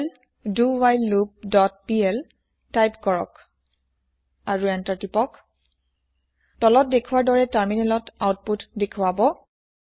Perl ডাৱহাইললুপ dot PL type কৰক আৰু এন্তাৰ টিপক তলত দেখোৱাৰ দৰে তাৰমিনেলত আওউপোত দেখোৱাব